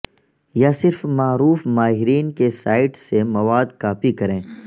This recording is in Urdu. یا صرف معروف ماہرین کی سائٹس سے مواد کاپی کریں